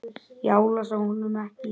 Ég álasa honum ekki.